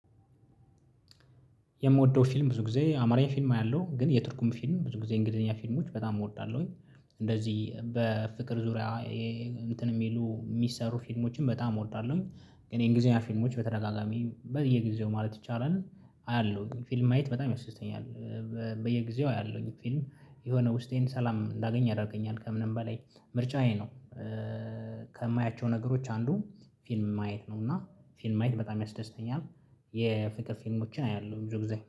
የምወደው ፊልም ብዙ ጊዜ አማርኛ ፊልም አያለሁ ግን የቱርኩም ፊልም ብዙ ጊዜ እንግሊዘኛ ፊልሞች በጣም እወዳለሁኝ እንደዚህ በፍቅር ዙሪያ። እንትን የሚሉ የሚሰሩ ፊልሞችን በጣም እወዳለሁኝ። ግን የእንግሊዘኛ ፊልሞች በተደጋጋሚ በየጊዜው ማለት ይቻላል አያለሁኝ ፊልም ማየት በጣም ያስደስተኛል። በየጊዜው አያለውኝ ፊልም የሆነ ውስጤን ሰላም እንዳገኝ አደርገኛል ከምንም በላይ ምርጫዬ ነው። ነገሮች አንዱ ፊልም ማየት ነው እና ፊልም ማየት በጣም ያስደስተኛል። የፍቅር ፊልሞችን አያለሁ ብዙ ጊዜ